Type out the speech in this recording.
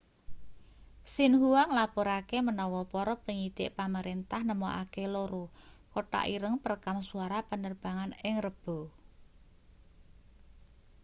xinhua nglapurake menawa para penyidik pamerentah nemokake loro kotak ireng' perekam suara penerbangan ing rebo